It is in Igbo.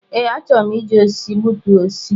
Ee, a chọrọ m iji osisi gbutu osisi.